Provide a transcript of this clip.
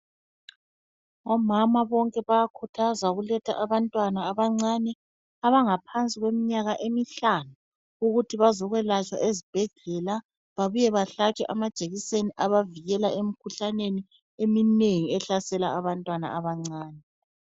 Omama bonke bayakhuthazwa ukuletha abantwana abancane abangaphansi kweminyaka emihlanu, ukuthi bazokwelatshwa ezibhedlela babuye bahlatshwe amajekiseni abavikela emikhuhlaneni eminengi ehlasela abantwana abancane.